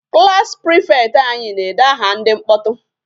Class prefect anyị na-ede aha ndị mkpọtụ.